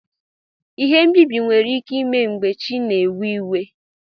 Ihe mbibi nwere ike ime mgbe chi na ewe iwe.